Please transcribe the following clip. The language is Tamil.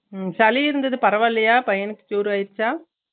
உம் சளி இருந்தது பரவால்லையா பையனுக்கு cure ஆய்ருச்சா